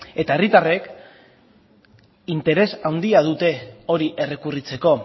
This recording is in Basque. eta herritarrek interes handia dute hori errekurritzeko